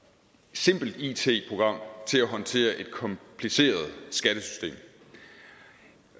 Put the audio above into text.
simpelt it program til at håndtere et kompliceret skattesystem